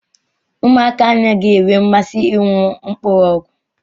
Ụmụaka anaghị enwe mmasị ịṅụ mkpụrụ ọgwụ.